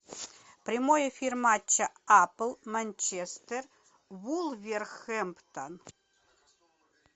прямой эфир матча апл манчестер вулверхэмптон